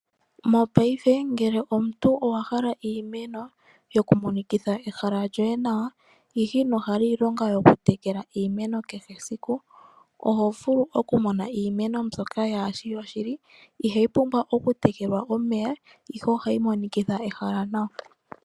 Mopaife ngele omuntu owahala iimeno yoku monikitha ehala lyoye nawa, ihe inohala iilonga yokutekela iimeno kehe esiku. Ohovulu okumona iimeno mbyoka yaa shi yoshili ihayi pumbwa okutekelwa omeya ihe ohayi monikitha ehala nawa.